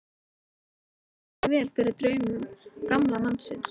Það horfði því ekki vel fyrir draumum gamla mannsins.